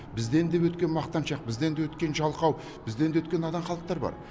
бізден де өткен мақтаншақ бізден де өткен жалқау бізден де өткен надан халықтар бар